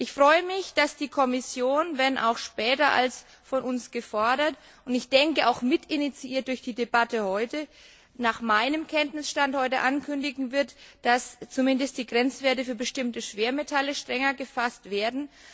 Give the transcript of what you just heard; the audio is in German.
Ich freue mich, dass die Kommission, wenn auch später als von uns gefordert und sicherlich auch mitinitiiert durch die Debatte heute, nach meinem Kenntnisstand heute ankündigen wird, dass zumindest die Grenzwerte für bestimmte Schwermetalle strenger gefasst werden.